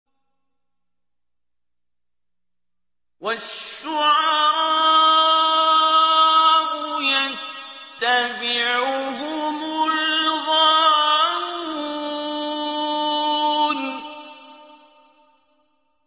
وَالشُّعَرَاءُ يَتَّبِعُهُمُ الْغَاوُونَ